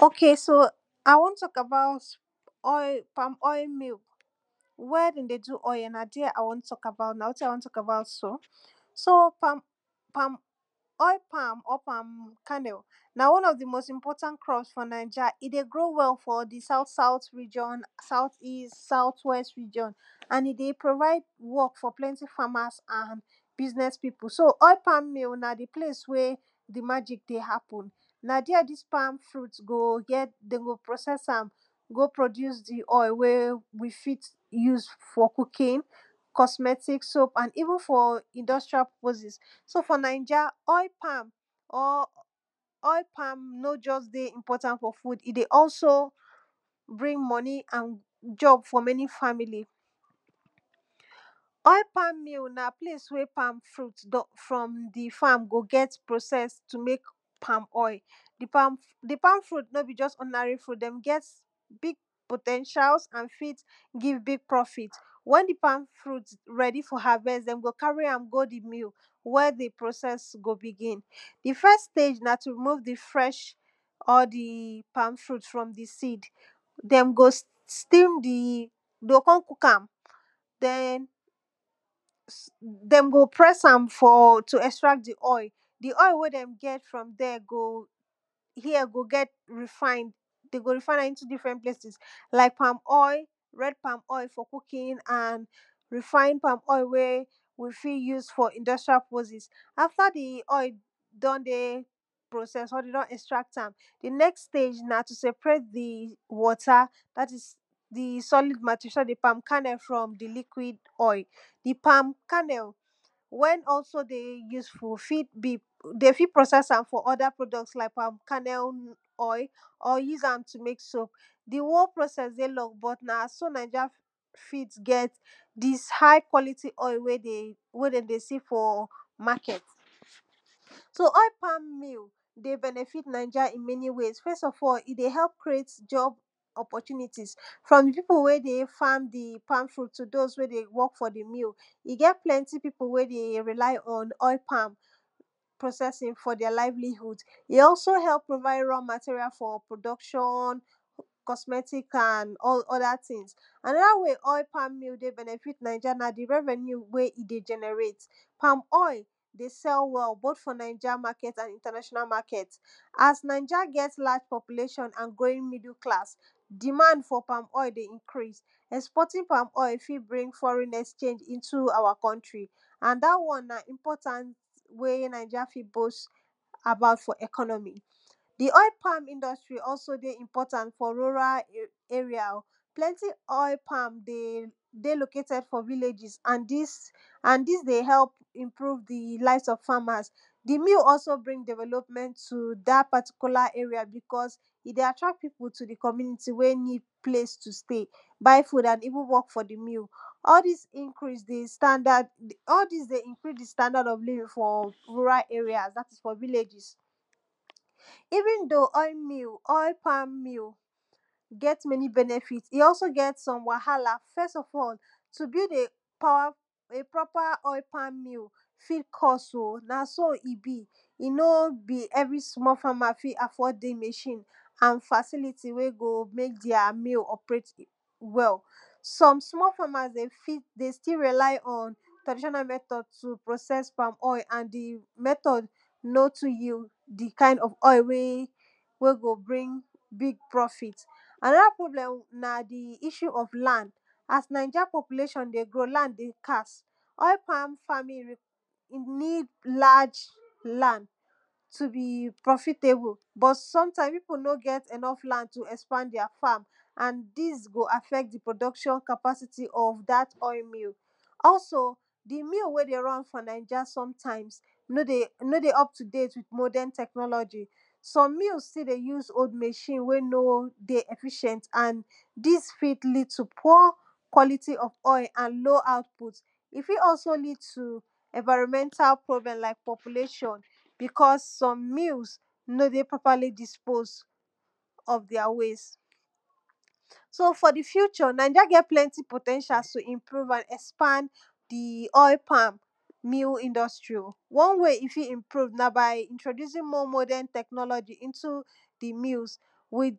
o?ke? na? a?i? w??n t??k a?ba?u?t pa?m ??j?? mi?u? w?? d??n de? du? ??j?? na? di??? a? w??n t??k a?ba?u?t so? so? ??i? pa?m?? pa?m ??j?? na? w??n ??f di? mo?st i?np??ta?nt ti?ns f?? na?i?ja? i? de? gro?u? we?u? i?n sa?u?t w??st ri????n a?n i? de? pro?va?i?d w??k f?? sa?u?t w??st ri????n a?n i? de? pro?va?i?d w??k f?? pl??ti? fa?ma?s a?n bi?sn??s pi?pu? so? ??i? pa?m mi? na? di? ple?s we? di? ma??i?k de? ha?pu?n na? di??? di?s pa?m fru?t go? pro?s??sa?m go? pro??i?u?? di? ??i? we? wi? de? ju?s f?? ku?ki?n k??sm??ti?k so?u?p a?n i?vu?n f?? i?nd??stra? p??po?si?s so? f?? na?i??a? ??i? pa?m no? ???s de? i??p??ta?nt f?? fu?d bi?k??s i? de? he?u?p bri?n m??ni? a?n ???b f?? m??ni? fa?mi?li? ??i? pa?m mi?u? na? di? ple?i?s we? pa?m fru?t go? g??t pro?s?? to? g??t pa?m ??i? di? pa?m fru?t no? bi? ???s ??di?na?ri? fru?t d??m g??t bi?g po?t???i?a?s a?n fi?t bri?n bi?g pr??fi?t w??n di? pa?m fru?t r??di? f?? ha?v??st d??m go? ka?ri? a?m go? mi?l wi??? di? pro?s??s go? bi?gi?n di? f?? ste?i?? na? tu? ri?mo?v di? fl?????? di? pa?m fru?t f??m di? si?d d??m go? sti?m di? de? o? k??n ku?ka?m d??m go? pr??sa?m tu? ??stra?t di? ??i? di? ??i? we? d??m g??t fr??m d?? g?? go? g?? ri?fa?i?nd de? go? ri?fa?i?n a?m i?ntu? di?fr??t ple?i?si?s la?i?k pa?m ??i? r??d ??i? f?? ku?ki?n wi? fa?i?n pa?m ??i? we? wi? o? fi? ju?s f?? i?nd??tr? p??po?si?s a?fta? di? ??i? d??n de? pro?s??s?? de? d??n ??stra?t a?m di? n??s ste?i?? na? tu? s??pre?i?t di? w??ta? da?t?s di? s??li?d so? da? di? pa?m kahn??u? fr??di? li?kwi?d ??i?s di? pa?m ka?n??u? we? ??so? de? ju?sfu? fi?t bi? de? fi? pro?s??s a?m la?i?k pa?m ka?n??l ??i?s di? wo?u? pr??mi?si?s de? l??ng b??t na? so? na?i??a? di?s ha?i? kw??li?ti? ??i? w??n de? de? si? f?? ma?k??t so? ??i? pa?m mi?i? de? b??n??fi?t na?i??a? f??s i? de? kre?i?t ??po??u?ni?ti?is f?m di? pi?pu? we? de? fa?m di? tu? do?u?s we? de? w??k f?? di? mi? i? g?? pl??ti? pi?pu? we? de? ri?la?i? ??n ??i? pro?s??si?n i? ??so? h??u?p pro?va?i?d r?? ma?ti?ri?a? f?? pro?d??k???n k??sm??ti?k a?n ??da?ti?ns ??da? we? we? ??i? pa?m mi?u? de? b??n?fi?t na?i??a? na? i? de? ???n??re?i?t r??v??ni?u? pa?m ??i? de? s??u? w?? bo?t f?? na?i??a? a?k?? a?n i?nta?na????na? ma?k??t a?s na?i??a g??t p??pu?le????n di?ma?nd f?? ??i? de? ri??i?u?s ??sp??ti?n pa?m ??i? fi? bri?n f??re?i?n ???e?i?g i?ntu? ??wa? k??nti? a?n dahw??n we? na?i??i?ri?a? de? bo?st f? di? ??k??n??mi? di? ??i? pa?m i?nd??stri? de? i?mp??taln f?? ru?ra? e?ri?a? o? ppl??nti? ??i? pa?m de? lo?ke?t??d f?? vi?le?i??i?s a?n di?s n di? de? h??u?p i?npru?v di? la?i?fs ??f fa?ma?s di? mi?u? ??so? bri?n de?ve?lo?pm??nt tu? da? pa?ti?ku?la? e?ri?a? bi?k??a i? de? a?tra?t pi?pu? tu? di? k??mu?ni?ti? we? ni?d ple?i?s tu? ste?i? ba?i? a?n i?vu?n w??k f?? di? mi?u??? di?s?? di?s de? i?nkri?s di? sta?da?d f?? ru?ra? e?ri?a?s da? ti? f?? vi?le?i??i?? i?vu?n do? ??i? pa?m mi?u? g??t m??ni? b??n??fi? i? ??so? g??t wa?ha?la? f??s ??l tu? gi?v e? pr??pa? ??i? pa?m mi?u? fi? k??s o? na? so? i? bi? i? no? bi? ??vri? sm?? fa?ma? fi? a?f??d di? m???i?n a?n fa?si?li?ti? we? go? me?k di?a? mi?u? ??pre??t w?? s??m sm?? fa?ma?s de? sti? ri?la?i? ??n tra?di????na? m??t??d tu? pro?s??s pa?m ??i? a?n di? ka?n ??f m??t??d no? tu? we? go? bri?ng pr??fi?t a?n??da? pro?b??m na? di?i??u? ??f la?nd a?s na?i??a? p??pu?le????n de? go? la?nd de? ska?s ??i? pa?m fa?mi?n ju? ni?d la?? la?nd tu? bi? pr??fi?te?bu? b?? s??mta?i?m pi?pu? no? g??? e?n??f la?nd tu? te? ??spa?nd di?a? fa?m a?n di? go? a?f??t di? pro?d??k???n ??f da?t ??i? mi?u? ??so? di? mi?u? we? de? r??n f?? na?i??a? so? s??mta?i?m no? de? ??p tu? de?i?t wi?t mo?d??n t??kn??l???i? s??m mi?u?s sti? de? ju?s o?u?d m???i?n a?n no? de? d??fi????nt d?s fi?t li?d tu? p?? kw??li?ti? ??f ??j?? s??m mi?u?s sti? de? ju?s o?u?d m???i?n a?n no? de? d??fi????nt d?s fi?t li?d tu? p?? kw??li?ti? ??f ??j?? so? f?? di? fu???? na??a? ge?t pl??nti? pro?t?????n tu? ??spa?n mi?u? i?nd??stri? w??n we? i? dfi? i?npru?v na? ba?i? i?mpru?v na? ba?i? i?ntro?di?u?si?n m?? mo?d??n t??kn??l???i? Wi?t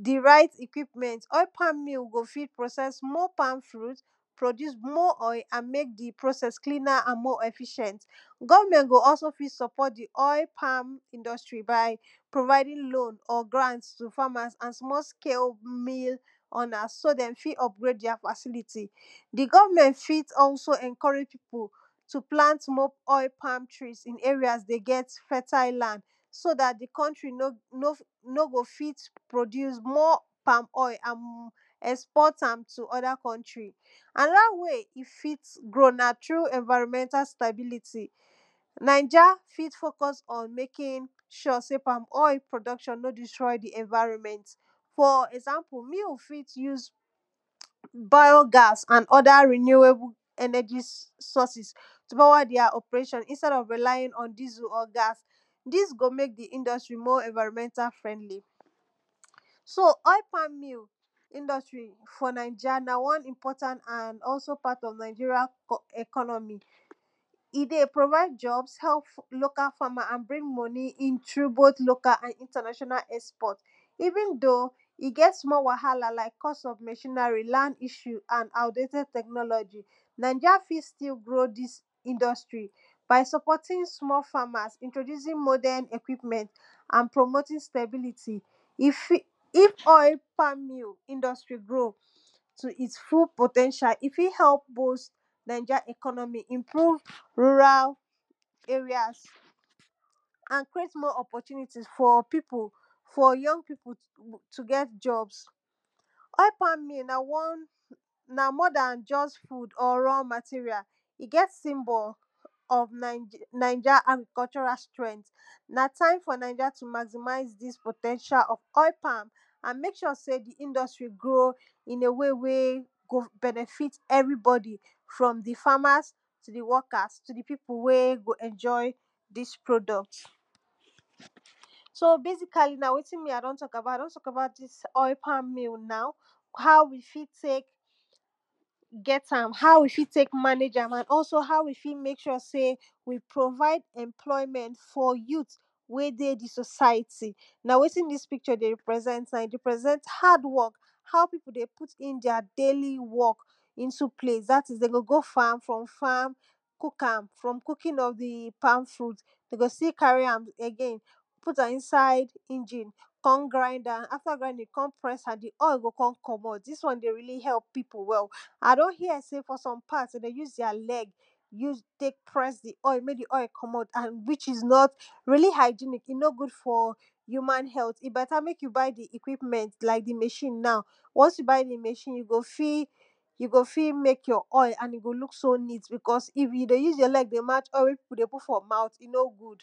di? ra?i?t ??kwi?m??nt ??i? fa?mi?n go fi?t pro?s??? m?? pa?m fru?t pro??i?u?s m?? ??i? a?n me?k di? pro?s??s m?? ??fi????nt g??vm???nt go? ??so? fi? s??p??t di? ??i? pa?m i?nd??stri? ba?i? pro?va?i?di?n lo?u?n tu? fa?ma?s a?n sm?? ske? fa?ma?s so? da?t de? o? fi? ??pgre?i?d di?a? fa?si?li?ti?s di? g??vm??nt fii?t ??so? ??nk??re?i?? pi?pu? tu? pla?nt m?? pa?m tri? i?n e?ri?a?s de? g??t m?? fa?ta?i? la?nd so? da?t di? k??ntri? no? go? fi? pro?di?u?s m?? pa?m ??i? a?n s??ndi?t tu? ??da? k??ntri? a?n??da? we?i? i? fi?tgo? na? tru? ??nva?ro?m??nta? ste?bi?li?ti? na?i??a? fi?t fo?k??s ??n me?ki?n??? se? pa?m ??i? pro?d??k???n no? di?str??i? di? ??nva?ro?nm??nt f?? ??za?mpu? mi?u? fi?? ju?s ba?jo? ga?s a?n ??da? ri?ni?e?bu? s??si?s tu? di?a? ??pre?i????n i?nst??d ??f ri?la?ji?n ??n di?zu??? ga?s di?s go? me?k di? i?nd??tri? m?? ??nva?ro?m??nta? fr??ndli? so? ??i? pa?m mi? i?nd??stri? na? wa?n i??mp??ta?nt a?nd ??so? pa?t?? na?i??i?ri?a? ??k??no?mi? hi? de? pro?va?i?d ???bs h?p lo?ka? fa?ma? a?n bri?ng m??ni? i?n bo?t lo?ka? a?n i?nta?na????na? ??sp??t i?vi?n do? i? g?? sm?? wa?ha?la? la?i?k k??st?? m???i?na?ri? la?nd i??u? a?n a?u?de?t??d t??kn??l???i? na?i??a? fi? sti? blo?u? di?s i?nd??stri? ba?i? s??p??ti?n sm?? fa?ma?s i?tro??u?zi?n ??kwi?m??nt a?n pro?mo?ti?n st??bi?li?ti? i?f ??i? pa?m mi?u? gro?u? so? i?t fu?l po?t???a? i? fi? h?u?p i?nklu?di?n ru?ra?l ee?ri?a?s a?n kre?i?t m?? ??p???u?ni?ti?s f?? j??ng pi?pu? tu? g?? ???bs ??i? pa?mi?n na? w??n na? m?? da?n ???s fu?d?? r?? ma?ti?ri?a? i? g??t si?mb?? ??f na?i??a? a?n k?????ra? str?nt na? ta?i?m f?? na?i??a? tu? ma?zi?ma?i? di?s po?t??n?i?a? ??f ??i? pa?m a?n me?k??? se? di? i?nd??stri? gro? i?n e? we? m? i? be?n??fi?t ??vi?b??di? fr??m fa?ma?s tu? di? w??ka?s tu? di? pi?pu? we? go? ??n???i? di? pro?d??t so? be?si?ka?li? a?i? d??n t??k a?ba?u?t di?s pa?m mi?u? na?u? a?n ha?u? wi? fi? te?k g??ta?m ha?u? wi? fi? te?k ma?ne?i??alm a?n wi? fih te?k del pro?va?i?d ??mpl??i?m??nt f?? ju?i?t we? de? di? so?sa?ji?ti? na? we?ti?n di? pi?k??? de? ri?pr??s??nt i? de? ri?pr??s??nt ha?d w??k a?u? pi?pu? de? pu?ti?n di?a? de?i?li? w??k da?ti?? d??n go? go? fa?m fr??m fa?m ku?ka?m fr??m ku?ki?n ??f di? pa?m fru?t de? go? sti? ka?ri? a?m e?ge?i?n pu?ta?m i?nsa?i? i?n?i?n k??n gra?nda?m a?fta? ju? d??n gra?ndi?n k??n pr??sa?m di? ??i? go? k??m k??m??t di?s w??n de? ri?li? he?u?p pi?pu? a? d??n j?? se? de? de? ju?s di?a? l??g ju?s te?k pr??s di? ??i? me? di? ??i? k??m??t wi? i?s n??t ri?li? ha??i?ni?k i? b??ta? me?k ju? ba?i? di? m???i?n na?u? w??n ju? ba?i? di? m???i?n ju? go? fi? me?k j?? ??i? a?n i? go? ni?t i?f ju? de? ju?s j?? l??g te? ma?? we?ti?n pi?pu? de? pu?t f?? ma?u?t i? no? gu?d ok so i won talk about oil palm oil mill where den dey do oil na there i won talk about so so palm oil oil palm oil na one of di most important crop for nainja. e dey grow well for di south south region outh west region. and e dey provide work for plenty farmers and business pipu. so oil pam mill na di place wey di magic dey happen. na there dis palm fruit go process am go produce di oil we use for cooking cosmetic, soup and even for industrial purposes. so for nanija oil pam no just dey important for food, e dey also bring money an job for many family. oil palm mill na place wey palmfruit don di farm go get pocessed to mek palm oil. di palmfruit no be just ordinary fruit dem get big po ten tials and fit give big profit. wen di palm fruit ready for harvet, em go carry am go di mill ready for process. di first stage na to just dey fresh all di palmfruit from di seed dem go steam di de o kon cook am den dem go press am for to extract di oil. di oil wey dem get for here go get refined. den go refine am like palm oil red palm oil for cooking and refined palmoil wey we fit use for industrail purposes. ater di oil don dey or de don etract am, di ext stage na to seperate di water so dat di palm kannel from di liquid oil di palm kannel wen also dey useful de fit process am like palm kanel oil or use am to mek soap. do whole process dey long but na so ninja fit get dis high quality oi we dem dey see for market. so oil palm mill dey benefit nanja in many way first of all, e dey help creat job oppotunities from di pipu wey dey farm di palm fruit to those wey dey work for di mill e get pipu wey dey rely on oil palm processing for their livelyhood e also help provide raw material for production cosmetic and other tins. anoda wey oil pam mill dey benefit nanja na di revenue e dey generate. palm oil dey sel well both fior ninja market and international market as ninja get large population and going middle class, demand for palm oil dey increase. exporting palm ol fit bring foreg exchange to di coultry and dat won na important way ninja fit boast about economy. di oil palm industry also dey important for rural area plenty oil palm dey dey located for villages and dis and dis dey help improve di lives of farmers di mill aldo bring evelopment to dat particular area because e dey attract pipu to di community wey need place to stay. buy food and even work for di mill all dis dey increas di standard for rural area dat is for villages. even though oilpalm mill get e wwahala first of all to build a proper oil palm mill fit cost oh na so e be no be every small farmer fi affort di machine or facility wey go mek their mil operate well some smal farmers dey rely on traditiona methods to process palm oil and di method no too yield di kind of oil wey wey go bring big profit. anoda problem na di issue of land. as ningeri dey grow, land dey scarce oil palm need lrge land to be profitable. but sometimes ppipu no get enough land to tek expand dtheir fam and go affect di producction of dat ol mil. also, di mil wey dey run for ninja sometmes no dey no dey up to date with modern tchnology some mils still dey use old machine we no dey efficient and dis fit lead to poor quality of oil and low output. if fit also lead to enviromental problem like population because soe mil no dey properly dispose their waste. so for di future, nanja get plenty po ten tial to expand di oil palm new industry. one way e fit improve na by introducing more technology into di lils. with di right equipmnt, oil pam mil go fit process oil palm and mek di process more efficient goverment go also fit suport di oil palm industry by providing loan to farmrs so dem fit upgrade their facility. di government fit also enccourage pipu to plant more of dis palmfruit for dis fertile land. so dat di counntry no go fit produce palm oil and export am to other country. an oda way e fit go na through environmental stabilty. ninja fit mek sure sey palm oil production no distroy di environmen. for example mil fit use bio-gas istad of relying on dissel or gas. dis go mek di industry more environmental friendly. so oil palm mil industry for nainja na also part of ninja economy. e dey provide jobs, help local farmers and bring money into both local and international export. even thogh e gt small wahala like cost of machinery, land issue and outdated technology. ninja fit grow all dis tin. by suppoting small farmers, introducing equipment and promoting stability. if oil palm mil industry grow, to it full po ten tial, e fit help ninja economy improve rural areas and create more oppotunities for young pipu to get jobs na more dan just food or raw material. e get symbol of nanja agrcultural strength na time for ninja to maximize dis po ten tials of oilpalm and mek sur sey di industry go benefit everybody in a wey from di farmers to di workers to di pipu wey go enjoy dis dis product. so basiclly na wetin me i don talk abou i don talk about dis oil palm mill na and how we fit tek get am and how we fit tek manage am and hw we fit tek provide employment for youth wey dey di society. na wetin dis picture dey represent na e dey represent hard work how piu dey do their daily work dat is den go go farm from farm cooking of di palm fruit de go still carry am again put am inside engine kon grind am kon press am dis won dey really help pipu wel. i don hear sey fr some part de dey use their leg use tek pres di oil which is not really hygenic e no good for human health. e beta mek you buy equipment like di machine once you buy di machine you go fit mek your oil and e go ook so neat and if yu dey use your leg dey match oil wey pipu dey put for mouth, e no good